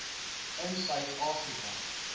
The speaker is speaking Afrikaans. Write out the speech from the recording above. in suid afrika